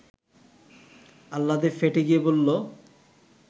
আহ্লাদে ফেটে গিয়ে বলল